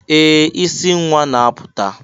Ee! Isi nwa na-apụta.